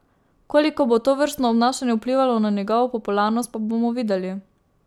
Koliko bo tovrstno obnašanje vplivalo na njegovo popularnost, pa bomo videli.